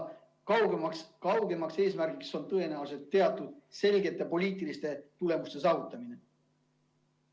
Kaugem eesmärk on tõenäoliselt konkreetsete poliitiliste tulemuste saavutamine.